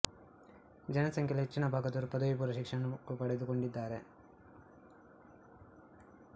ಜನಸಂಖ್ಯೆ ಯಲ್ಲಿ ಹೆಚ್ಚಿನ ಭಾಗದವರು ಪದವಿ ಪೂರ್ವ ಶಿಕ್ಷಣ ಪಡೆದು ಕೊಂಡಿದಾರೆ